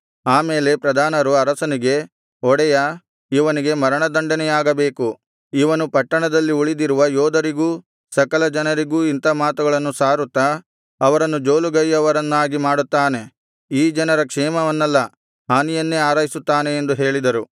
ಆ ಮೇಲೆ ಆ ಪ್ರಧಾನರು ಅರಸನಿಗೆ ಒಡೆಯಾ ಇವನಿಗೆ ಮರಣ ದಂಡನೆಯಾಗಬೇಕು ಇವನು ಪಟ್ಟಣದಲ್ಲಿ ಉಳಿದಿರುವ ಯೋಧರಿಗೂ ಸಕಲ ಜನರಿಗೂ ಇಂಥಾ ಮಾತುಗಳನ್ನು ಸಾರುತ್ತಾ ಅವರನ್ನು ಜೋಲುಗೈಯವರನ್ನಾಗಿ ಮಾಡುತ್ತಾನೆ ಈ ಜನರ ಕ್ಷೇಮವನ್ನಲ್ಲ ಹಾನಿಯನ್ನೇ ಹಾರೈಸುತ್ತಾನೆ ಎಂದು ಹೇಳಿದರು